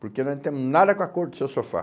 Porque nós não temos nada com a cor do seu sofá.